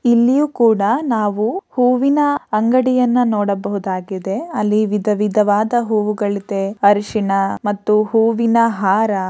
ಇಲ್ಲಿಯೂ ಕೂಡ ನಾವು ಹೂವಿನ ಅಂಗಡಿಯನ್ನ ನೋಡಬಹುದಾಗಿದೆ. ಅಲ್ಲಿ ವಿಧ ವಿಧವಾದ ಹೂವುಗಳಿದೆ ಅರಿಶಿನ ಮತ್ತು ಹೂವಿನ ಹಾರ --